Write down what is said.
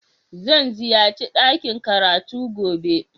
Zan ziyace dakin karatu gobe